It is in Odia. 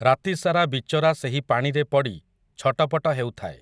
ରାତିସାରା ବିଚରା ସେହି ପାଣିରେ ପଡ଼ି, ଛଟପଟ ହେଉଥାଏ ।